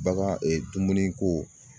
Bagan dumuniko